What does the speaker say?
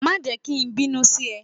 Má jẹ́ ki n bínú sí e